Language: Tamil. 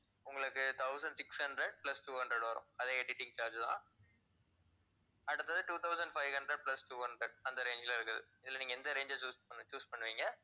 உங்களுக்கு thousand six hundred plus two hundred வரும். அதே editing charge தான். அடுத்தது two thousand five hundred plus two hundred அந்த range ல இருக்குது. இதுல நீங்க எந்த range அ choose பண்றீ~ choose பண்றீங்க